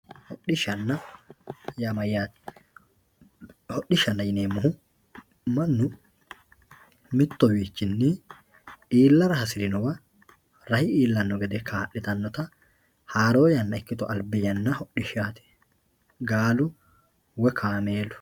hodhishshanna yaa mayaate hodhishshanna yineemohu mannu mittowiichini iilara hasirinowa rahe iillanno gede kaa'litannota haroo yanna ikkito albi yanna hodhishshaati gaalu woye kaameelu.